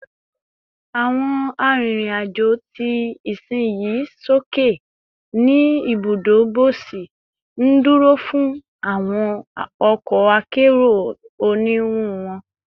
Awọn arinrin-ajo ti isinyi soke ni ibudo bosi, nduro fun awọn ọkọ akero oniwun wọn